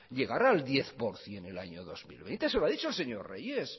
llegar al diez por ciento en el año dos mil veinte se lo ha dicho el señor reyes